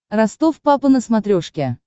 ростов папа на смотрешке